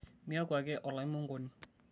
miaku ake olaimonkoni